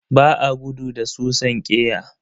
Ba a gudu da susan ƙeya.